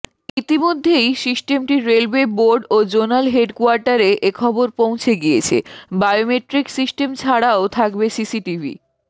ইতিমধ্যেই সিস্টেমটি railway board ও জোনাল হেডকোয়ার্টারে এখবর পৌঁছে গিয়েছে বায়োমেট্রিক সিস্টেম ছাড়াও থাকবে সিসিটিভি